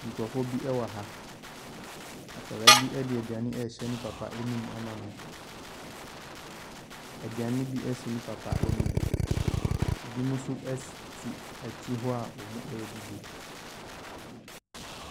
Nkurɔfoɔ bi wɔ ha. Akwadaa bi de aduane rehyɛ ne papa anom ama no. Aduane bi si ne papa anim. Ebinom nso ɛss te akyire hɔ a wɔredidi.